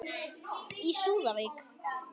Í súðavík